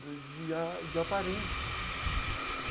Né de a... de aparências.